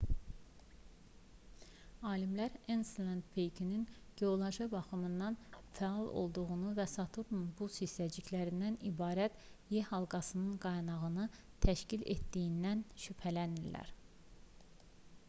alimlər enselad peykinin geoloji baxımdan fəal olduğundan və saturnun buz hissəciklərindən ibarət e-halqasının qaynağını təşkil etdiyindən şübhələnirlər